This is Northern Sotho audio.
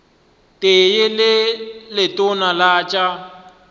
tee le letona la tša